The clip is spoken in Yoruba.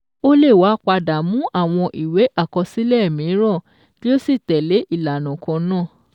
Ó lè wá padà mú àwọn ìwé àkọsílẹ̀ mìíràn kí ó sì tẹ́lẹ̀ ìlànà kan náà.